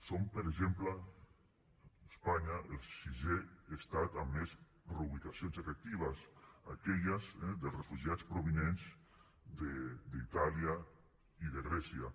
som per exemple espanya el sisè estat amb més reubicacions efectives aquelles dels refugiats provinents d’itàlia i de grècia